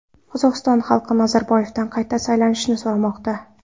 Qozog‘iston xalqi Nazarboyevdan qayta saylanishni so‘ramoqda.